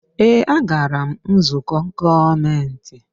Ee, a gara m nzukọ gọọmentị.